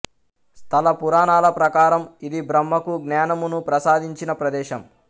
స్థల పురాణాల ప్రకారం ఇది బ్రహ్మకు జ్ఞానమును ప్రసాదించిన ప్రదేశం